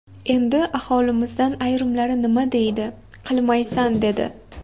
Endi aholimizdan ayrimlari nima deydi, qilmaysan dedi.